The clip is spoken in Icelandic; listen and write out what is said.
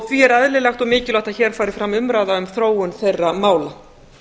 því er eðlilegt og mikilvægt að hér fari fram umræða um þróun þeirra mála